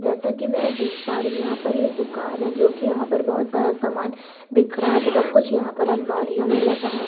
जैसा कि मैं देख पा रही यहाँ पर यह दुकान है जो कि यहाँ पर बहुत सारा सामान बिखरा है तथा कुछ यहाँ पर अलमारीयों में लगा है।